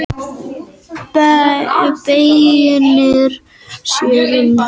Beinir sér um að samtengja mörg net og er því enn háþróaðri græja en skiptir.